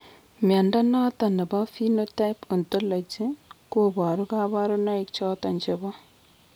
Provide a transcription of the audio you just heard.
Mnyondo noton nebo Phenotype Ontology koboru kabarunaik choton chebo